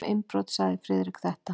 Um innbrot sagði Friðrik þetta: